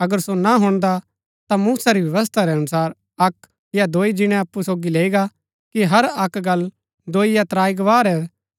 अगर सो ना हुणदा ता मूसा री व्यवस्था रै अनुसार अक्क या दोई जिणै अप्पु सोगी लैई गा कि हर अक्क गल्ल दोई या त्राई गवाह रै